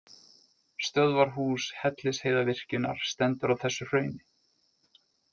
Stöðvarhús Hellisheiðarvirkjunar stendur á þessu hrauni.